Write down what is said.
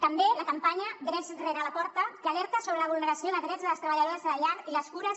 també la campanya drets rere la porta que alerta sobre la vulneració de drets de les treballadores de la llar i les cures